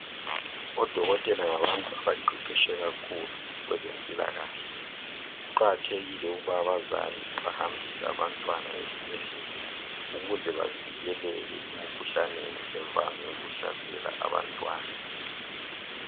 Odokotela ngabantu abaqeqetshe kakhulu kwezempilakahle, kuqakathekile ukuba abazali bahambise abantwana ezibhedlela ukuze bavikeleke emikhuhlaneni evame ukuhlasela abantwana.